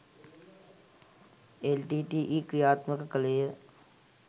LTTE. ක්‍රියාත්මක කළේය.